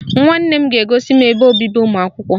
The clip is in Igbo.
Nwanne m ga-egosi m ebe obibi ụmụakwụkwọ.